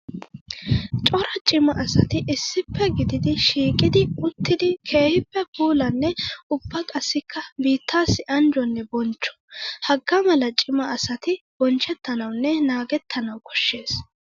Cora cima asatti issippe gididdi shiiqiddi uttiddi keehippe puulanne ubba qassikka biittassi anjjonne bonchcho. Hagaa mala cima asatti bonchchettanawunne naagetanawu koshees.